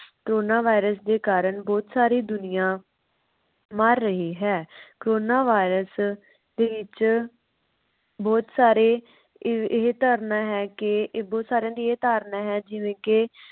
corona virus ਦੇ ਕਾਰਨ ਬਹੁਤ ਸਾਰੀ ਦੁਨੀਆਂ ਮਰ ਰਹੀ ਹੈ corona virus ਦੇ ਵਿਚ ਬਹੁਤ ਸਾਰੇ ਇਵਇਹ ਧਾਰਨਾ ਹੈ। ਇਹ ਬੋਹਤ ਸਾਰੀਆਂ ਦੀ ਇਹ ਧਾਰਨਾ ਹੈ ਜਿਵੇ ਕਿ